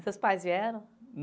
Seus pais vieram?